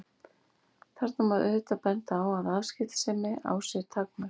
Þarna má auðvitað benda á að afskiptasemi á sér takmörk.